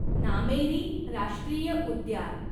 नामेरी राष्ट्रीय उद्यान